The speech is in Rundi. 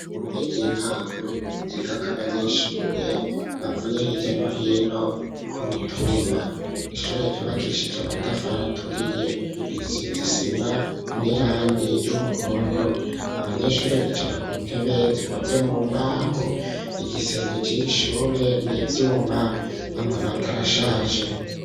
Mu kigo c,intongo cigako abanyeshure bavuye hirya no hino ku mitumba y,ishure ryubakishije amatafara aturiye isima n'irangi ry'umuhondo abanyeshure bicara ku ntebe zikoze mu mbaho igisenge c,iri shure nibyuma amabati arashaje